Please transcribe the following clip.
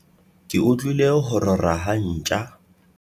ke utlwile ho rora ha ntja